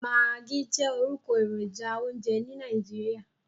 Maggi jẹ́ orúkọ èròjà oúnjẹ ní Nàìjíríà.